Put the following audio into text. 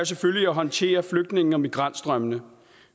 selvfølgelig at håndtere flygtninge og migrantstrømmene